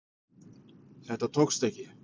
Þetta tókst ekki